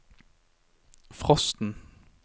frosten